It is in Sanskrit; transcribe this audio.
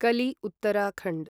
कलि उत्तराखण्ड्